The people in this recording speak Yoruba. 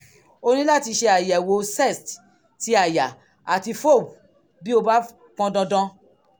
o ní láti ṣe àyẹ̀wò cest ti àyà àti fob bí ó bá pọn dandan